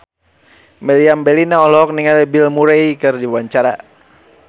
Meriam Bellina olohok ningali Bill Murray keur diwawancara